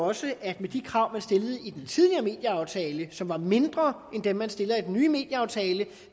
også at med de krav man stillede i den tidligere medieaftale som var mindre end dem man stiller i den nye medieaftale